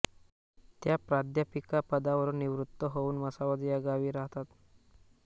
त्या प्राध्यापिकापदावरुन निवृत्त होउव म्हसावद या गावी राहतात